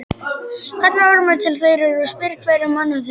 Kallar Ormur til þeirra og spyr hverra manna þeir séu.